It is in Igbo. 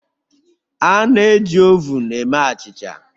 A na-eji ovun eme achịcha